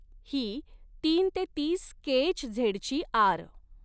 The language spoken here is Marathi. ही तीन ते तीस केएचझेडची आर.